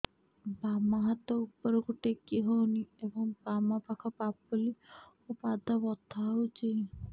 ବାମ ହାତ ଉପରକୁ ଟେକି ହଉନି ଏବଂ ବାମ ପାଖ ପାପୁଲି ଓ ପାଦ ବଥା ହଉଚି